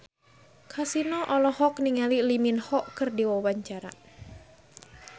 Kasino olohok ningali Lee Min Ho keur diwawancara